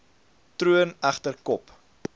troon egter kop